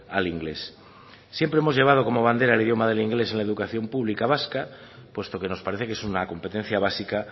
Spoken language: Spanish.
al inglés siempre hemos llevado como bandera el idioma del inglés en la educación pública vasca puesto que nos parece que es una competencia básica